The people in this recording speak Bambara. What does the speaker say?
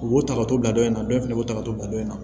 U b'u ta ka to ladon in na dɔ in fɛnɛ b'u ta ka to ladon in na